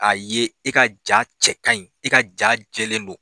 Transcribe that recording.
A ye i ka ja cɛ ka ɲi i ka ja jɛlen don